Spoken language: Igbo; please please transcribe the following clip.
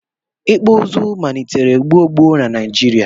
ikpụ izu manitere gbo gbo na Naijirịa